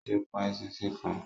Ó ti pa eṣinṣin kan.